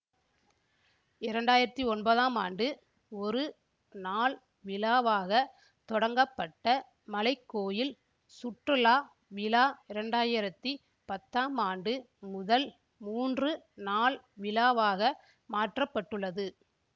இரண்டாயிரத்தி ஒன்பதாம் ஆண்டு ஒரு நாள் விழாவாகத் தொடங்கப்பட்ட மலைக்கோயில் சுற்றுலா விழா இரண்டாயிரத்தி பத்தாம் ஆண்டு முதல் மூன்று நாள் விழாவாக மாற்ற பட்டுள்ளது